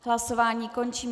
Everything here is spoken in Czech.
Hlasování končím.